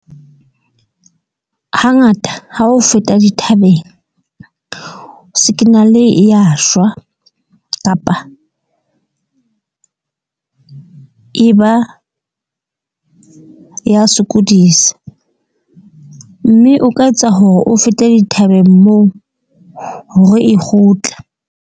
Hangata ha o feta dithabeng, sikinale e ya shwa, kapa e ba ya sokodisa. Mme o ka etsa hore o fete dithabeng moo hore e kgutla.